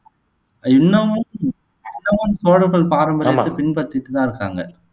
இன்னமும் இன்னமும் சோழர்கள் பாரம்பரியத்தை பின்பற்றிட்டு தான் இருக்காங்க